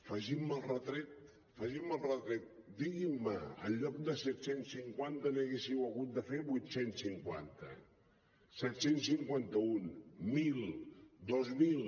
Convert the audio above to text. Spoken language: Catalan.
facin me el retret facin me el retret diguin me en lloc de set cents i cinquanta n’hauríeu hagut de fer vuit cents i cinquanta set cents i cinquanta un mil dos mil